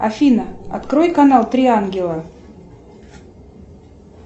афина открой канал три ангела